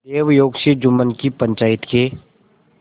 दैवयोग से जुम्मन की पंचायत के